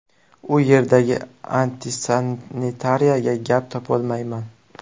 U yerdagi antisanitariyaga gap topolmayman.